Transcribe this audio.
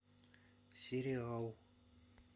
сериал